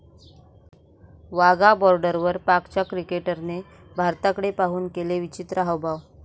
वाघा बाॅर्डरवर पाकच्या क्रिकेटरने भारताकडे पाहुन केले विचित्र हावभाव